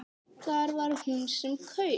Það var hún sem kaus!